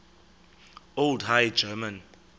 old high german